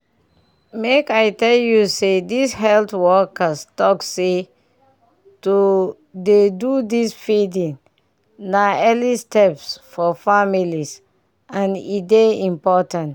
make i tell you say this health workers talk seh to dey do this feeding na early steps for families and e dey important